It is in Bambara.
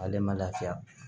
Ale ma lafiya